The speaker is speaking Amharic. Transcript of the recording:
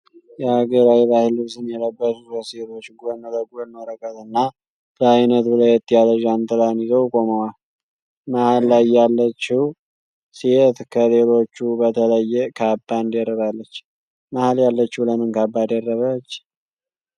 የሃገራዊ ባህል ልብስን የለበሱ ሶስት ሴቶች ጎን ለጎን ወረቀት እና በአይነቱ ለየት ያለ ዣንጥላን ይዘው ቆመዋል። መሃል ላይ ያለችው ሴት ከሌሎቹ በተለየ ካባን ደርባለች። መሃል ያለችው ለምን ካባ ደረበች?